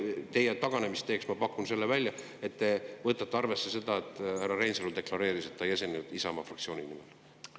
Teile taganemisteeks ma pakun välja, et te võtate arvesse seda, et härra Reinsalu deklareeris, et ta ei esinenud Isamaa fraktsiooni nimel.